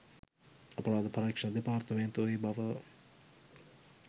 අපරාධ පරීක්‍ෂණ දෙපාර්තමේන්තුව ඒබව